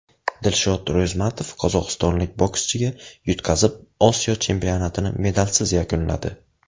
Dilshod Ro‘zmatov qozog‘istonlik bokschiga yutqazib, Osiyo chempionatini medalsiz yakunladi.